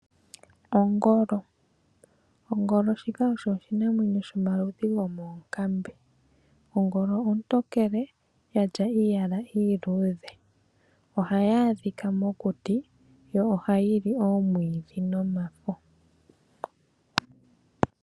Ongolo osho oshinamwenyo shoka shina oludhi lwoonkambe. Ongolo ontokele yina iiyala iiludhe ohayi adhikwa mokuti yo ohayi li omwiidhi nomafo.